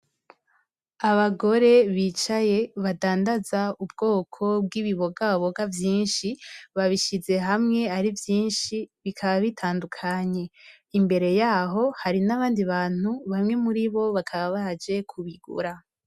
Abagore bicaye badandaza ubwoko bw’ibibogaboga vyinshi ,babishize hamwe ari vyinshi bikaba bitandukanye. Imbere yaho hari n’abandi bantu bamwe muri bo bakaba baje kubigura.